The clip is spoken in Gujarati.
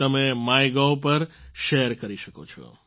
તમે માયગોવ પર શેર કરી શકો છો